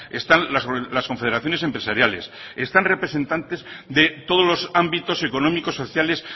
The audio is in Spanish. están las confederaciones empresariales están representantes de todos los ámbitos económicos sociales